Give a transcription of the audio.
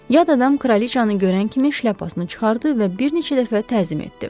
Yad adam kraliçanı görən kimi şlyapasını çıxardı və bir neçə dəfə təzim etdi.